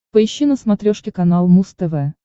поищи на смотрешке канал муз тв